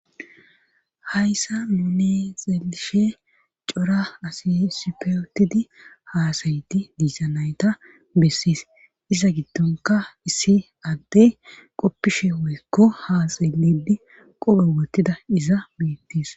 hayssa nune xelishe cora assi isspe utidi haasayiti diislza nayta bessiis iza giddonka issi addey qoppishe woykko ha xelidi qophe wottida iza beettis